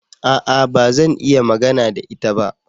A'a! Ba zan iya magana da ita ba.